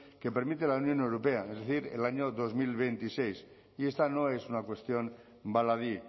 que permite la unión europea es decir el año dos mil veintiséis y esta no es una cuestión baladí